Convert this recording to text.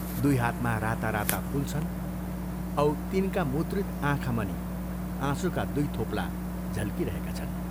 दुइ हातमा राता राता फूल छन् औ तिनका मुद्रित आँखामनि आँसुका दुइ थोप्ला झल्किरहेका छन्।